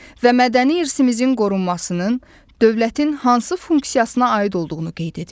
Və mədəni irsimizin qorunmasının dövlətin hansı funksiyasına aid olduğunu qeyd edin.